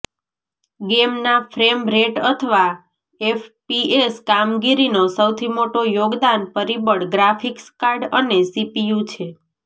ગેમના frame rate અથવા FPS કામગીરીનો સૌથી મોટો યોગદાન પરિબળ ગ્રાફિક્સ કાર્ડ અને સીપીયુ છે